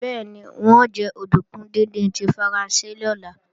Bẹ́ẹ̀ni, n ó jẹ òdùnkún díndín tí Faransé lọ́la